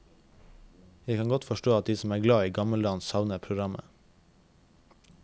Jeg kan godt forstå at de som er glad i gammeldans savner programmet.